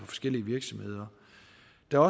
der er